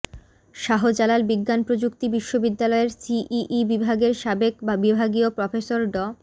শাহজালাল বিজ্ঞান ও প্রযুক্তি বিশ্ববিদ্যালয়ের সিইই বিভাগের সাবেক বিভাগীয় প্রফেসর ড